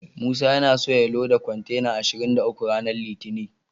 Musa yana so ya loda kontena ashirin da uku ranar litinin.